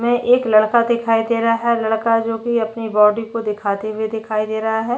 में एक लड़का दिखाई दे रहा है लड़का जो कि अपने बॉडी को दिखाते हुए दिखाई दे रहा है।